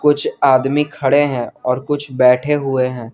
कुछ आदमी खड़े हैं और कुछ बैठे हुए हैं।